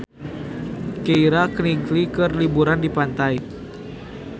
Keira Knightley keur liburan di pantai